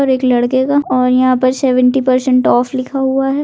पर एक लड़के का और यहा पर सेवेंटी परसेंट ऑफ लिखा हुआ है।